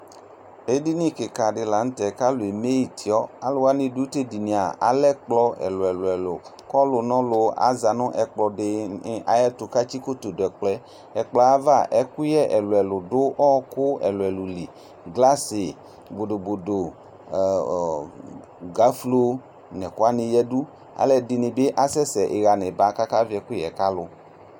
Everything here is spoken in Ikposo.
ɛɖiɲikikɑɖi lɑɲωtɛ ɑlωɛmétiɔ ɑlɛkƥlɔ ɛluɛlωɛlω kɔlụɲɔlʊ ɑʒɑɲu ɛkploɖiɲi ɑƴɛṭu kɑtsikotó ɖωɛkƥlọyɛ ɛkploăyɑvɑ ɛkωyé ɛluɛlωɛlω ɖu ókω ɛluɛlụlĩ ɠlɑṣi bọɖoboɖo ɔo gɑflo ɲɛkuwɑɲi ƴɛdω ɑluɛɖiɲi kɑsɛsɛ ïhɑɲibɑ kɑkɑviɛkuyɛ ƙɑlu